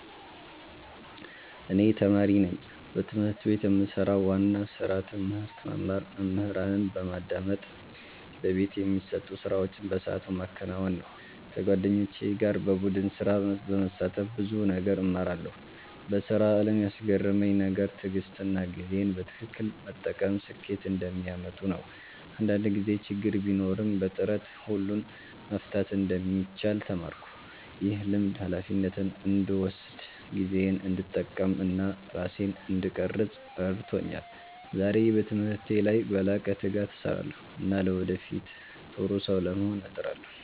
እኔ ተማሪ ነኝ። በትምህርት ቤት የምሰራው ዋና ስራ ትምህርት መማር፣ መምህራንን በማዳመጥ በቤት የሚሰጡ ስራዎችን በሰዓቱ ማከናወን ነው። ከጓደኞቼ ጋር በቡድን ስራ በመሳተፍ ብዙ ነገር እማራለሁ። በስራ አለም ያስገረመኝ ነገር ትዕግሥትና ጊዜን በትክክል መጠቀም ስኬት እንደሚያመጡ ነው። አንዳንድ ጊዜ ችግር ቢኖርም በጥረት ሁሉን መፍታት እንደሚቻል ተማርኩ። ይህ ልምድ ሃላፊነትን እንድወስድ፣ ጊዜዬን እንድጠቀም እና ራሴን እንድቀርፅ ረድቶኛል። ዛሬ በትምህርቴ ላይ በላቀ ትጋት እሰራለሁ እና ለወደፊት ጥሩ ሰው ለመሆን እጥራለሁ።